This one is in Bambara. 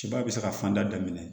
Ciba bɛ se ka fanda daminɛ